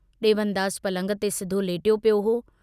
डेवनदास पलंग ते सिधो लेटियो पियो हो।